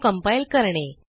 तो कंपाइल करणे